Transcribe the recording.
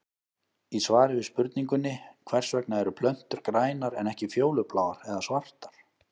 Í svari við spurningunni Hvers vegna eru plöntur grænar en ekki fjólubláar eða svartar?